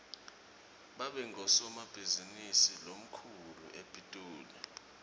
babe ngusomabhizinisi lomkhulu epitoli